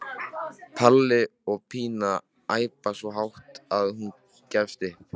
Palli og Pína æpa svo hátt að hún gefst upp.